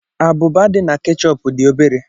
Abụba dị na ketchup dị obere